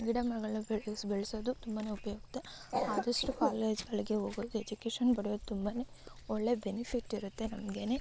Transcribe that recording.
ಗಿಡಮರಗಳನ್ನು ಬೆಳೆಸುವುದು ತುಂಬಾನೇ ಉಪಯುಕ್ತ. ಆದಷ್ಟು ಕಾಲೇಜಗಳಿಗೆ ಹೋಗುವುದು ಏಜುಕೇಷನ್‌ ಪಡೆಯುವುದು ತುಂಬಾನೇ ಒಳ್ಳೆ ಬೆನಿಫಿಟ್‌ ಇರುತ್ತೆ ನಮೀಗೇನೆ.